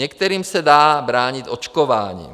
Některým se dá bránit očkováním.